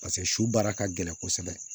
Paseke su baara ka gɛlɛn kosɛbɛ